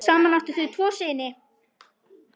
Saman áttu þau tvo syni.